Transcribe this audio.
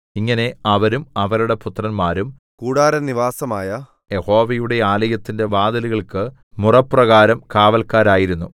ഇങ്ങനെ അവരും അവരുടെ പുത്രന്മാരും കൂടാരനിവാസമായ യഹോവയുടെ ആലയത്തിന്റെ വാതിലുകൾക്കു മുറപ്രകാരം കാവല്ക്കാരായിരുന്നു